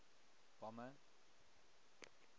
bomber